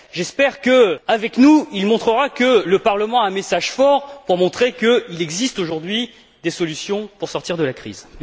J'espère qu'avec nous il montrera que le Parlement a un message fort pour montrer qu'il existe, aujourd'hui, des solutions pour sortir de la crise.